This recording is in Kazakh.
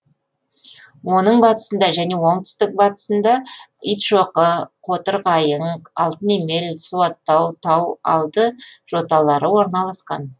оның батысында және оңтүстік батысында итшоқы қотырқайың алтынемел суаттау тау алды жоталары орналасқан